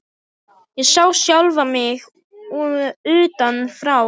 Ég sá sjálfa mig utan frá.